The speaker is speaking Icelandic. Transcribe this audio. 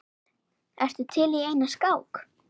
Ertu til í eina skák?